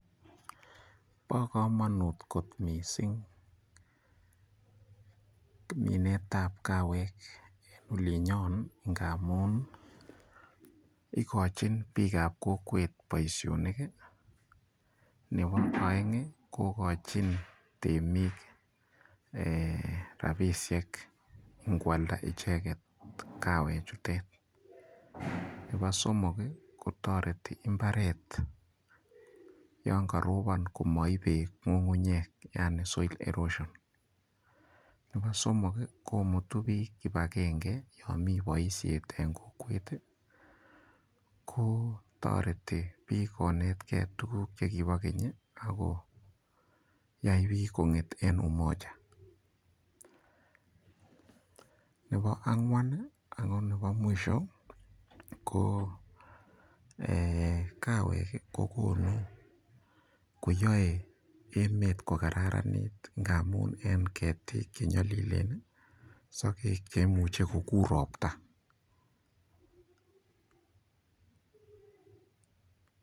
Bo komonut kot mising minetab kawek olinyo ngamun ikochin biikab kokwet boishonik, nebo oeng kokochin temik rabishek koalda icheket kawek chutet, Nebo somok kokochin mbaret yon karobon komaip beek ng'ung'unyek yani soil erosion. Nebo somok komutu biik kibagenge yo mi boishet eng kokwet, ko toreti biik konetkei tukuk ch kibo keny akoyai biik kong'et eng umoja. Nebo ang'wan ako nebo mwisho ko ee kawek kokonu koyaei emet kokararanit ngamin eng ketik che nyolilen ,sokek che imuche kokur ropta.